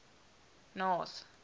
north